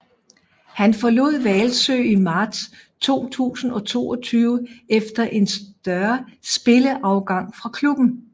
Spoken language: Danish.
Han forlod Hvalsø i marts 2022 efter en større spillerafgang fra klubben